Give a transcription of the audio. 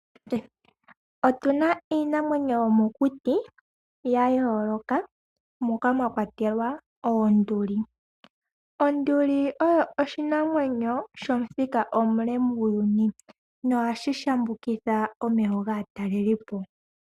Otuna iinamwenyo yomokuti ya yooloka moka mwa kwatelwa oonduli. Onduli oyo oshinamwenyo shomuthika omule muuyuni no hashi shambukitha omeho gaatalelipo.